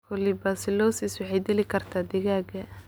colibacillosis waxay dili kartaa digaagga.